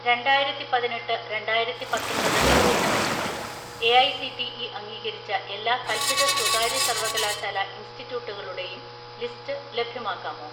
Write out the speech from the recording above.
"രണ്ടായിരത്തിപതിനെട്ട് രണ്ടായിരത്തിപത്തൊമ്പത് അധ്യയന വർഷത്തിൽ എഐസിടിഇ അംഗീകരിച്ച എല്ലാ കൽപ്പിത സ്വകാര്യ സർവകലാശാല ഇൻസ്റ്റിറ്റ്യൂട്ടുകളുടെയും ലിസ്റ്റ് ലഭ്യമാക്കാമോ?"